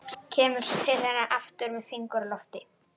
Kemur svo til hennar aftur með fingur á lofti.